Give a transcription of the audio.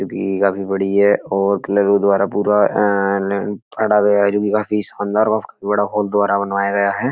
जो कि काफी बड़ी है और कलोरो द्वारा पूरा आ ल काटा गया है। जो कि काफी शानदार और बड़ा हॉल द्वारा बनवाया गया है।